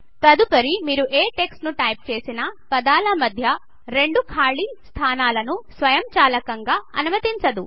తదుపరి మీరు ఏ టెక్స్ట్ ను టైప్ చేసిన పదాల మధ్య రెండు ఖాలీ స్థానాలను స్వయంచాలకంగా అనుమతించదు